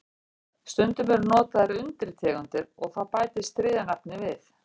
Stundum eru notaðar undirtegundir og þá bætist þriðja nafnið við.